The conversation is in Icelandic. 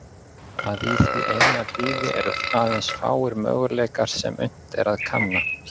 Að í því eina lífi eru aðeins fáir möguleikar sem unnt er að kanna.